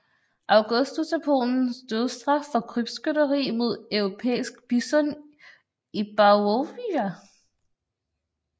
Augustus af Polen dødsstraf for krybskytteri mod europæisk bison i Białowieża